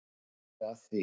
Ertu að því?